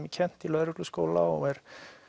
er kennt í lögregluskóla og er